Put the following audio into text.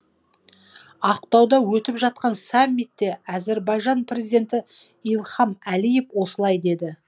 ақтауда өтіп жатқан саммитте әзірбайжан президенті ильхам алиев осылай деді